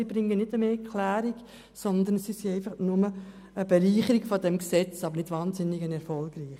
Sie bringen keine bessere Klärung, sondern sind nur eine Bereicherung dieses Gesetzes, aber keine wahnsinnig erfolgreiche.